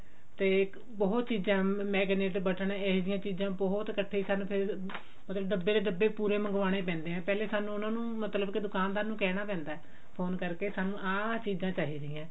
ਤੇ ਬਹੁਤ ਚੀਜ਼ਾਂ ਮੈਂ ਕਹਿਣੀ ਜਿਦਾਂ ਬਟਨ ਇਹੋ ਜਿਹਾਂ ਚੀਜ਼ਾਂ ਸਾਨੂੰ ਬਹੁਤ ਕੱਠੀ ਸਾਨੂੰ ਫ਼ੇਰ ਮਤਲਬ ਡੱਬੇ ਦੇ ਡੱਬੇ ਪੂਰੇ ਮੰਗਵਾਉਣੇ ਪੈਂਦੇ ਨੇ ਪਹਿਲਾਂ ਸਾਨੂੰ ਉਹਨਾ ਮਤਲਬ ਕਿ ਦੁਕਾਨਦਾਰ ਨੂੰ ਕਹਿਣਾ ਪੈਂਦਾ phone ਕਰਕੇ ਸਾਨੂੰ ਆਹ ਆਹ ਚੀਜ਼ਾਂ ਚਾਹੀਦੀਆਂ ਨੇ